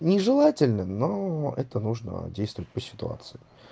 нежелательно но это нужно действовать по ситуации